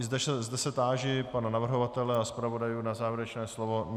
I zde se táži pana navrhovatele a zpravodajů na závěrečné slovo.